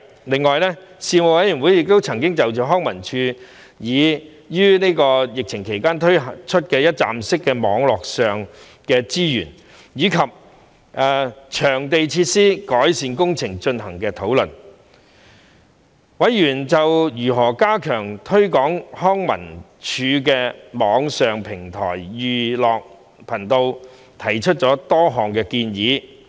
另外，事務委員會曾就康樂及文化事務署於疫情期間推出的一站式網上資源，以及場地設施的改善工程進行討論，委員就如何加強推廣康文署的網上平台"寓樂頻道"提出了多項建議。